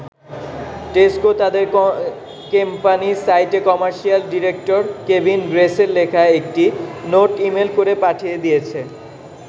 Tesco তাদের company সাইটে commercial director Kevin গ্রেসের লেখা একটি নোট ইমেল করে পাঠিয়ে দিয়েছে।